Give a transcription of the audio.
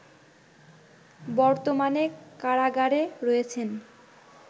বর্তমানে কারাগারে রয়েছেন